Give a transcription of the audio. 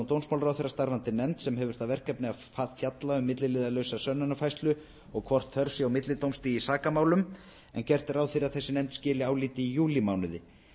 dómsmálaráðherra starfandi nefnd sem hefur það verkefni að fjalla um milliliðalausa sönnunarfærslu og hvort þörf sé á millidómstigi í sakamálum gert er ráð fyrir að þessi nefnd skili áliti júlímánuði